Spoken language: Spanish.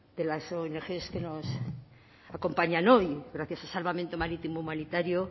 de las ongs que nos acompañan hoy gracias a salvamento marítimo humanitario